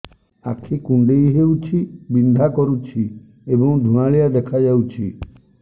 ଆଖି କୁଂଡେଇ ହେଉଛି ବିଂଧା କରୁଛି ଏବଂ ଧୁଁଆଳିଆ ଦେଖାଯାଉଛି